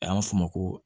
A y'a f'o ma ko